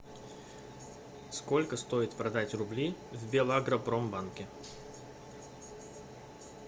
сколько стоит продать рубли в белагропромбанке